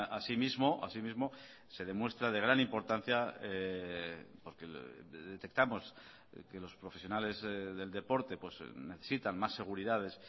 así mismo así mismo se demuestra de gran importancia porque detectamos que los profesionales del deporte necesitan más seguridades